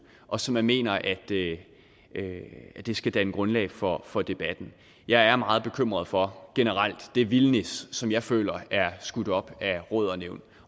og som mener at det det skal danne grundlag for for debatten jeg er meget bekymret for generelt det vildnis som jeg føler er skudt op af råd og nævn